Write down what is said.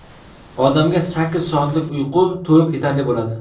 Odamga sakkiz soatlik uyqu to‘liq yetarli bo‘ladi.